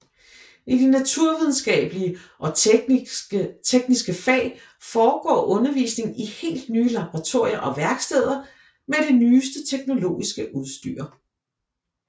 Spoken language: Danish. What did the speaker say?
I de naturvidenskabelige og tekniske fag foregår undervisningen i helt nye laboratorier og værksteder med det nyeste teknologiske udstyr